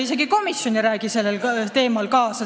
Isegi komisjon ei räägi sellel teemal kaasa!